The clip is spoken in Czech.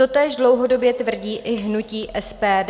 Totéž dlouhodobě tvrdí i hnutí SPD.